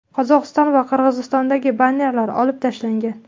Qozog‘iston va Qirg‘izistondagi bannerlar olib tashlangan.